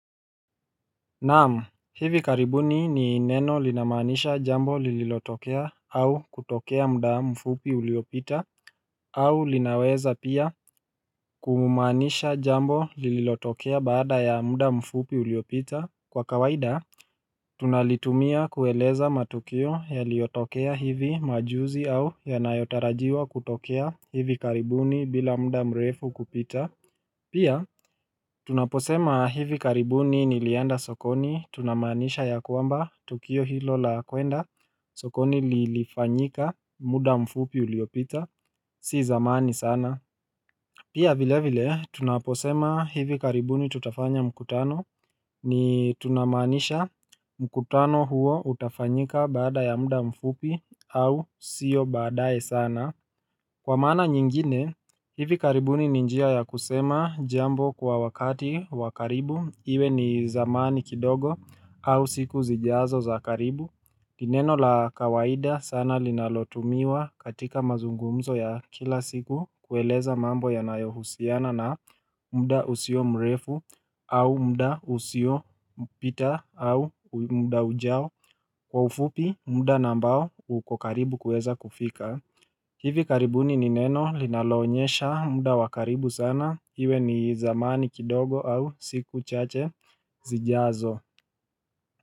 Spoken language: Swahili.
Naam, hivi karibuni ni neno linamaanisha jambo lililotokea au kutokea muda mfupi uliopita au linaweza pia kumaanisha jambo lililotokea baada ya muda mfupi uliopita kwa kawaida Tunalitumia kueleza matukio yaliyotokea hivi majuzi au yanayotarajiwa kutokea hivi karibuni bila muda mrefu kupita Pia, tunaposema hivi karibuni nilienda sokoni, tunamaanisha ya kwamba, tukio hilo la kwenda, sokoni lilifanyika muda mfupi uliopita, si zamani sana. Pia vile vile, tunaposema hivi karibuni tutafanya mkutano, ni tunamaanisha mkutano huo utafanyika baada ya muda mfupi au sio baadae sana. Kwa maana nyingine, hivi karibuni ninjia ya kusema jambo kwa wakati wakaribu, iwe ni zamani kidogo au siku zijazo za karibu. Ni neno la kawaida sana linalotumiwa katika mazungumzo ya kila siku kueleza mambo ya nayohusiana na muda usio mrefu au muda usio pita au muda ujao. Kwa ufupi, muda na ambao ukokaribu kuweza kufika. Hivi karibuni nineno linaloonyesha muda wakaribu sana iwe ni zamani kidogo au siku chache zijazo.